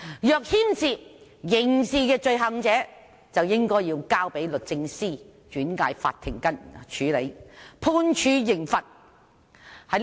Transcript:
若牽涉刑事罪行，應該交由律政司轉介法庭處理，判處刑罰。